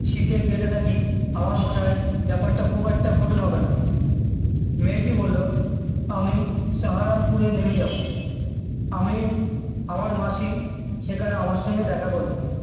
Sit এ গেড়ে থাকি আমার মনে হয় ব্যাপারটা খুব একটা কঠিন হবেনা মেয়েটি বললো আমি সাহারান পুড়ে নেমে যাবো আমি আমার মাসি সেখানে আমার সাথে দ্যাখা করবে